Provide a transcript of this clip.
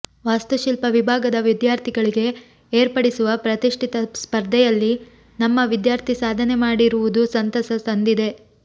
ವಾಸ್ತುಶಿಲ್ಪ ವಿಭಾಗದ ವಿದ್ಯಾರ್ಥಿಗಳಿಗೆ ಏರ್ಪಡಿಸುವ ಪ್ರತಿಷ್ಠಿತ ಸ್ಪರ್ಧೆಯಲ್ಲಿ ನಮ್ಮ ವಿದ್ಯಾರ್ಥಿ ಸಾಧನೆ ಮಾಡಿರು ವುದು ಸಂತಸ ತಂದಿದೆ